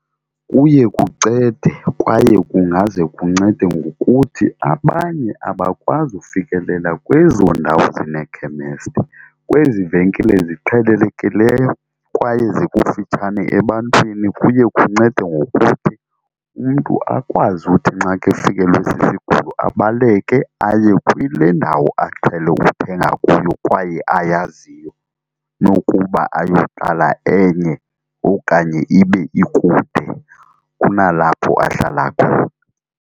Kuye kucede kwaye kungaze kuncede ngokuthi abanye abakwazi ufikelela kwezo ndawo zinekhemesti. Kwezi venkile ziqhelelekileyo kwaye zikufitshane ebantwini kuye kuncede ngokuthi umntu akwazi uthi nxa kefikelwe sisigulo abaleke aye kule ndawo aqhele ukuthenga kuyo kwaye ayaziyo nokuba ayoqala enye okanye ibe ikude kunalapho ahlala khona.